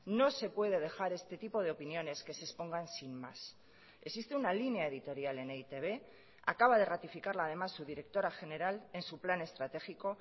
no se puede dejar este tipo de opiniones que se expongan sin más existe una línea editorial en e i te be acaba de ratificarla además su directora general en su plan estratégico